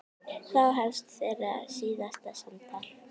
Þá hefst þeirra síðasta samtal.